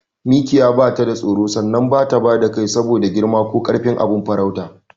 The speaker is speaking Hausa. Mikiya batada tsoro sannan bata bada kai saboda girma ko karfin abin farautarta.